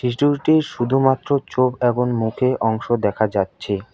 শুধুমাত্র চোখ এবং মুখে অংশ দেখা যাচ্ছে।